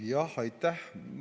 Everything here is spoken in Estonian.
Jah, aitäh!